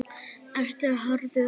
Ertu harður?